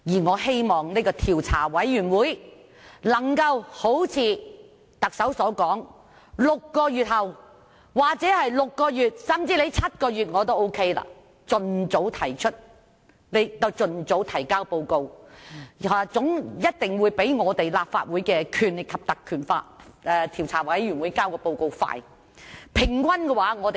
我希望政府的調查委員會能夠如特首所說 ，6 個月後——或甚至7個月後我也接受——盡早提交報告，一定會較立法會根據《條例》成立專責委員會更快。